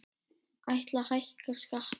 Ætla að hækka skatta